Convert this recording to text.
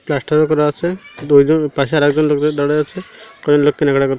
plaster -ও করা আছে দুএকজন পাশে আর একজন লোকও দাঁড়ায়ে আছে কজন লোক কেনাকাটা কর--